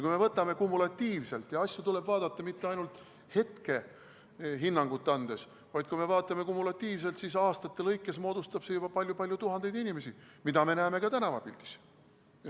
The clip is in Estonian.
Kui me võtame kumulatiivselt – asju tuleb vaadata mitte ainult hetkehinnangut andes –, siis aastate jooksul moodustab see juba palju-palju tuhandeid inimesi, mida me näeme ka tänavapildis.